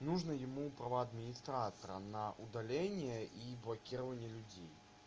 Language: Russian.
нужно ему права администратора на удаление и блокирование людей